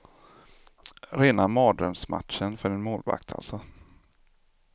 Rena mardrömsmatchen för en målvakt, alltså.